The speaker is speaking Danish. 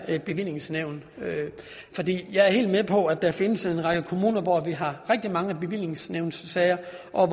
bevillingsnævn jeg er helt med på at der findes en række kommuner hvor vi har rigtig mange bevillingsnævnssager